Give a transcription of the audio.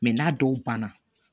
n'a dɔw banna